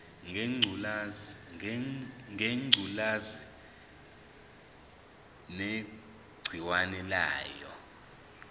ngengculazi negciwane layo